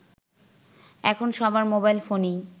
এখন সবার মোবাইল ফোনেই